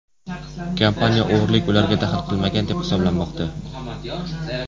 Kompaniya o‘g‘rilik ularga daxl qilmagan deb hisoblamoqda.